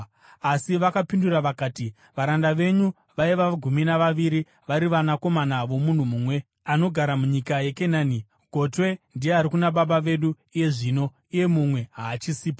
Asi vakapindura vakati, “Varanda venyu vaiva gumi navaviri, vari vanakomana vomunhu mumwe, anogara munyika yeKenani. Gotwe ndiye ari kuna baba vedu iye zvino, uye mumwe haachisipo.”